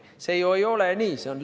See ju ei ole nii!